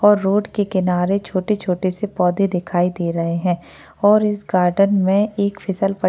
और रोड के किनारे छोटे छोटे से पौधे दिखाई दे रहे हैं और इस गार्डन में एक फसल पट --